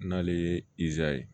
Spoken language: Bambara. N'ale ye izaye